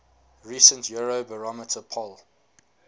recent eurobarometer poll